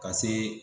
Ka see